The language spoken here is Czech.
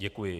Děkuji.